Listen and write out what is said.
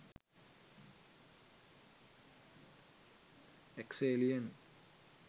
ex alien